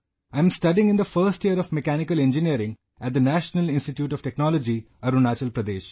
I am studying in the first year of Mechanical Engineering at the National Institute of Technology, Arunachal Pradesh